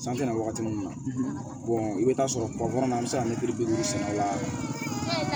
San tɛna wagati min na i bɛ taa sɔrɔ na bɛ se ka mɛtiri bi duuru sɛnɛ la